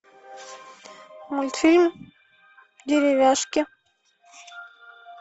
мультфильм деревяшки